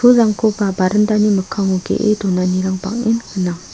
pulrangkoba barandani mikkango ge·e donanirang bang·en gnang.